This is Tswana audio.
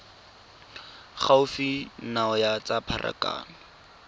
gaufi nao ya tsa pharakano